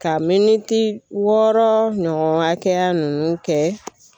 Ka miniti wɔɔrɔ ɲɔgɔn hakɛya ninnu kɛ.